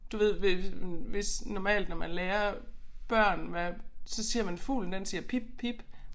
Du ved hvis hvis normalt når man lærer børn hvad så siger man fuglen den siger pip pip